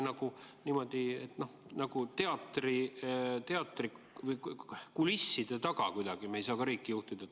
Niimoodi kulisside taga ei saa me ju riiki juhtida.